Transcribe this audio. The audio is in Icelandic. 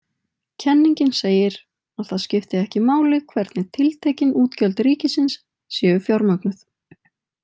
Kenningin segir að það skipti ekki máli hvernig tiltekin útgjöld ríkisins séu fjármögnuð.